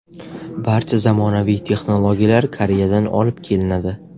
Barcha zamonaviy texnologiyalar Koreyadan olib kelinadi.